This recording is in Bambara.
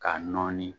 K'a nɔɔni